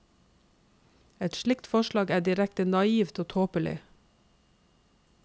Et slikt forslag er direkte naivt og tåpelig.